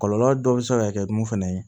Kɔlɔlɔ dɔ bɛ se ka kɛ mun fana ye